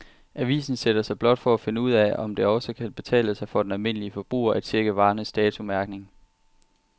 Avisen sætter sig blot for at finde ud af, om det også kan betale sig for den almindelige forbruger at checke varernes datomærkning.